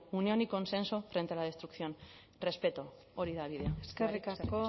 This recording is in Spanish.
unión y consenso frente a la destrucción respeto hori da bidea eskerrik asko